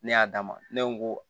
Ne y'a d'a ma ne ko